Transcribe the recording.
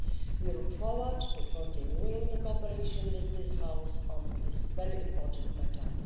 We look forward to continuing the cooperation with this House on this very important matter.